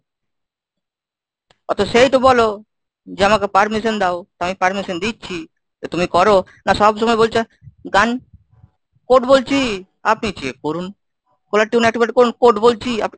আ সেইটুকু বলো যে আমাকে permission দাও, তো আমি permission দিচ্ছি, তো তুমি করো। না সব সময় বলছো গান code বলছি আপনি check করুন। caller tune activate করুন, code বলছি